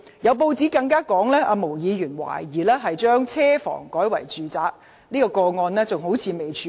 有報道更質疑，毛議員把車房改作住宅用途一事，至今仍未處理。